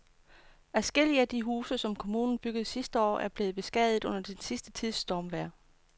Adskillige af de huse, som kommunen byggede sidste år, er blevet beskadiget under den sidste tids stormvejr.